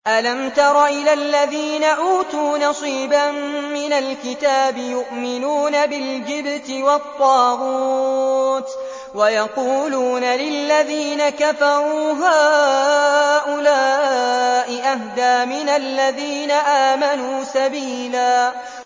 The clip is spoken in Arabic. أَلَمْ تَرَ إِلَى الَّذِينَ أُوتُوا نَصِيبًا مِّنَ الْكِتَابِ يُؤْمِنُونَ بِالْجِبْتِ وَالطَّاغُوتِ وَيَقُولُونَ لِلَّذِينَ كَفَرُوا هَٰؤُلَاءِ أَهْدَىٰ مِنَ الَّذِينَ آمَنُوا سَبِيلًا